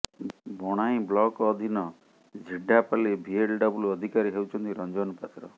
Bonai block ଅଧୀନ Jhirdapali VLW ଅଧିକାରୀ ହେଉଛନ୍ତି ରଞ୍ଜନ ପାତ୍ର